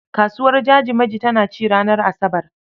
Kasuwar Jajimaji tana ci ranar Asabar.